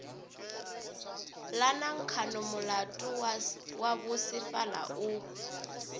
la nankhonomolato wa bosefala o